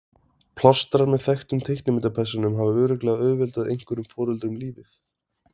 Plástrar með þekktum teiknimyndapersónum hafa örugglega auðveldað einhverjum foreldrum lífið.